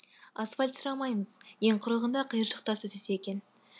асфальт сұрамаймыз ең құрығанда қиыршық тас төсесе екен